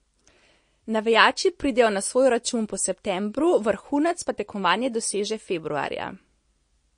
Navijači pridejo na svoj račun po septembru, vrhunec pa tekmovanje doseže februarja.